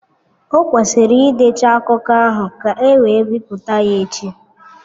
Ọ kwesịrị ịdecha akụkọ ahụ ka e wee bipụta ya echi.